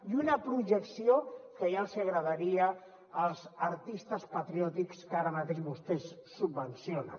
i una projecció que ja els hi agradaria als artistes patriòtics que ara mateix vostès subvencionen